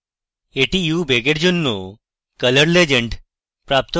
এটি u বেগের জন্য color legend